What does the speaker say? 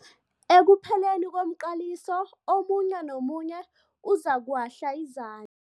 Ekupheleni komqaliso omunye nomunye uzokuwahla izan